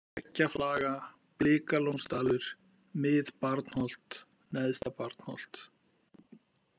Veggjaflaga, Blikalónsdalur, Mið-Barnholt, Neðsta-Barnholt